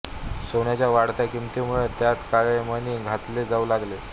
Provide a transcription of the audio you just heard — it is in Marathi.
सोन्याच्या वाढत्या किमतीमुळे त्यात काळे मणी घातले जाऊ लागले